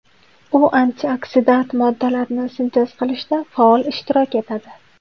U antioksidant moddalarni sintez qilishda faol ishtirok etadi.